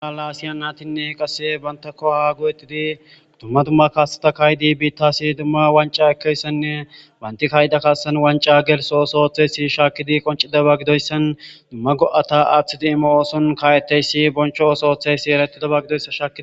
Ha lasiya naytinne qasi banta go'a go'etidi dumma dumma kasseta ka'idi bittas dumma wanc'a ekkiyassanne banti ka'iya kassan wanc'a geltho othodays shakidi qonc'idaysa gidoysan erettides.